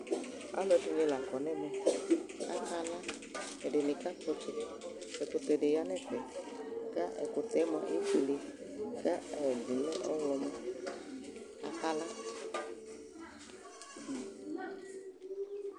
Alu ɛɖɩŋɩ laƙo nemɛ, aƙa la, ɛɖɩŋɩ ƙaƙpɔ ɔtsɛ Ɛƙʊtɛ ɖi ƴa ŋɛƒɛ ƙʊ ɛƙʊtɛ mʊa éfoélé, ƙɛɖi lɛ ɔwlɔmɔ aƙala